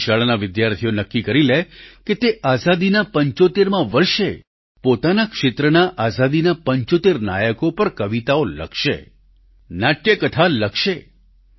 કોઈ શાળાના વિદ્યાર્થીઓ નક્કી કરી લે કે તે આઝાદીના 75મા વર્ષે પોતાના ક્ષેત્રના આઝાદીના 75 નાયકો પર કવિતાઓ લખશે નાટ્ય કથા લખશે